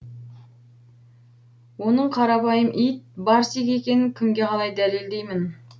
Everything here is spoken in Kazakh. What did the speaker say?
оның қарапайым ит барсик екенін кімге қалай дәлелдеймін